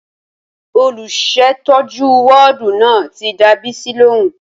Olùsètọ́jú wọ́ọ̀dù náà ti dá Bisi lóhùn